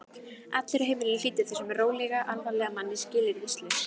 Allir á heimilinu hlýddu þessum rólega, alvarlega manni skilyrðislaust.